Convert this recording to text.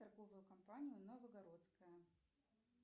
торговую компанию новогородская